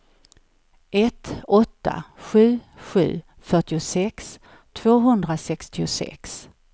ett åtta sju sju fyrtiosex tvåhundrasextiosex